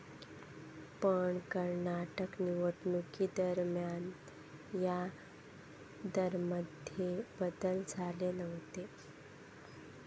पण कर्नाटक निवडणुकीदरम्यान या दरांमध्ये बदलच झाले नव्हते.